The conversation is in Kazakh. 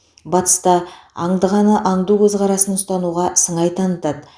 батыста аңдығаны аңду көзқарасын ұстануға сыңай танытады